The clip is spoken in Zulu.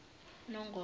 nongoma